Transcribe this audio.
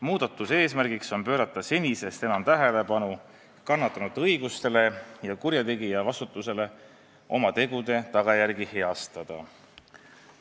Muudatuse eesmärk on pöörata senisest enam tähelepanu kannatanute õigustele ja kurjategija vastutusele oma tegude tagajärgi heastada.